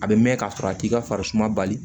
A bɛ mɛn ka sɔrɔ a t'i ka farisuma bali